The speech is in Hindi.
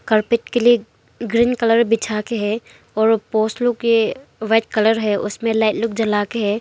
कार्पेट के लिए ग्रीन कलर बिछा के है और पोल्स लोग के व्हाइट कलर है उसमे लाइट लोग जला के है।